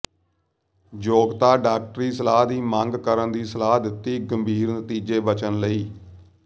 ਯੋਗਤਾ ਡਾਕਟਰੀ ਸਲਾਹ ਦੀ ਮੰਗ ਕਰਨ ਦੀ ਸਲਾਹ ਦਿੱਤੀ ਗੰਭੀਰ ਨਤੀਜੇ ਬਚਣ ਲਈ